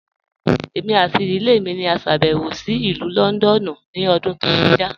Ẹ̀mi àti ìdílẹ̀ mi ni à ṣàbẹ̀wò sí Ilù Lọ́ndọ̀nù ni ọ̀dún tó kọja.